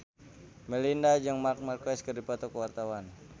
Melinda jeung Marc Marquez keur dipoto ku wartawan